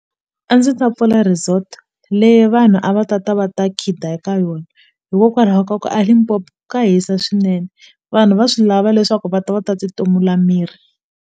A ndzi ta pfula resort leyi vanhu a va tata va ta khida eka yona hikokwalaho ka ku a Limpopo ka hisa swinene vanhu va swi lava leswaku va ta va ta ti tumula miri.